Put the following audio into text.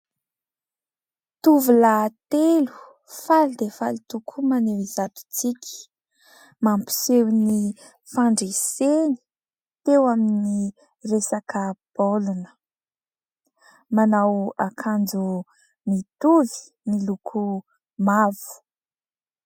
Tovolahy telo faly dia faly tokoa, maneho izato tsiky. Mampiseho ny fandreseny teo amin'ny resaka baolina. Manao akanjo mitovy, miloko mavo.